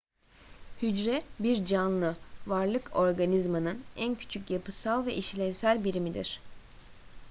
hücre bir canlı varlık organizmanın en küçük yapısal ve işlevsel birimidir